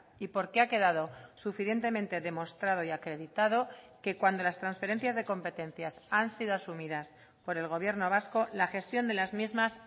y porque ha quedado suficientemente demostrado y acreditado que cuando las transferencias de competencias han sido asumidas por el gobierno vasco la gestión de las mismas